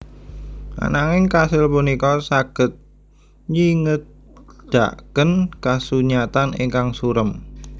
Ananging kasil punika saged nyingedaken kasunyatan ingkang surem